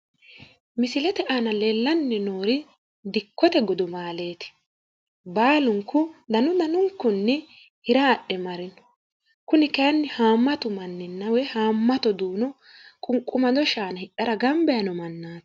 Misilete aana leellanni noori dikkote gudumaaleeti baalunku danu danunkunni hira adhe marino kuni kayiinni hamatu manninna woy hamatu duuno qunwumado shaana hidhara gamba yiino mannaati.